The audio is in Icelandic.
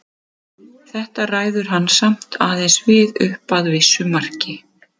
Þetta ræður hann samt aðeins við upp að vissu marki.